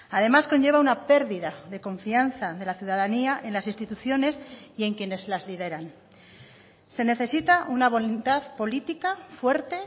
además conlleva una pérdida de confianza de la ciudadanía en las instituciones y en quienes las lideran se necesita una voluntad política fuerte